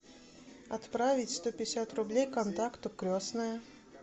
отправить сто пятьдесят рублей контакту крестная